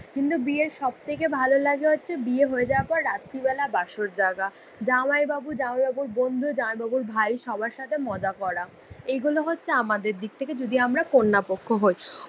কিন্তু বিয়ের সবথেকে ভালো লাগে হচ্ছে বিয়ে হয়ে যাওয়ার পর রাত্রিবেলা বাসর জাগা। জামাইবাবু, জামাইবাবুর বন্ধু, জামাইবাবুর ভাই সবার সাথে মজা করা। এগুলো হচ্ছে আমাদের দিকথেকে যদি আমরা কন্যা পক্ষ হই।